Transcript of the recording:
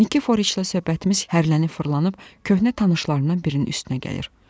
Nikiforiçlə söhbətimiz hərrlənib-fırrrlanıb köhnə tanışlarından birinin üstünə gəlir.